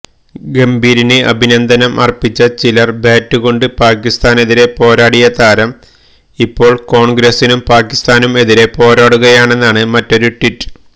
ഗംഭീറിന് അഭിനന്ദനം അര്പ്പിച്ച ചിലര് ബാറ്റുകൊണ്ട് പാകിസ്ഥാനെതിരെ പോരാടിയ താരം ഇപ്പോള് കോണ്ഗ്രസിനും പാകിസ്ഥാനും എതിരെ പോരാടുകയാണെന്നാണ് മറ്റൊരു ട്വീറ്റ്